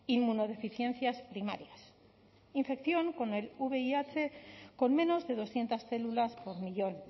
inmunodeficiencias primarias infección con el vih con menos de doscientos células por millón